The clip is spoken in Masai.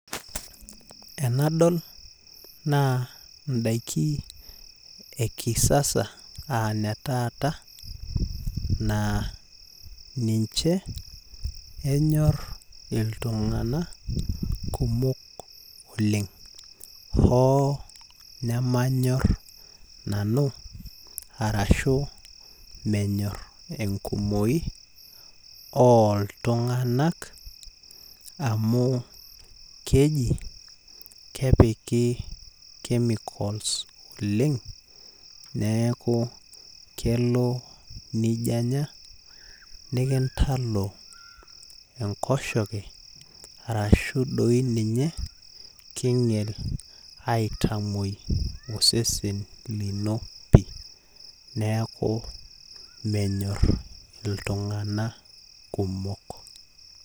Enadol naa ndaikin ekisasa naa ninche enyor iltunganak kumok oleng hoo nemanyor nanu ashu enkumoi oltunganak amu keji kepiki chemicals oleng , neeku kelo nijo anya nikintalo enkoshoke arashu doi ninye kinyial aitamwoi osesen lino pi , neeku menyor iltunganak kumok pi.